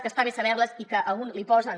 que està bé saber les i que a un li posen